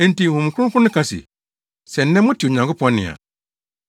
Enti Honhom Kronkron no ka se, “Sɛ nnɛ mote Onyankopɔn nne a,